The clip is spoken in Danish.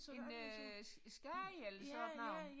En øh skade eller sådan noget